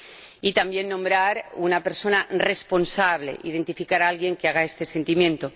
Y también, nombrar a una persona responsable, identificar a alguien que haga este seguimiento.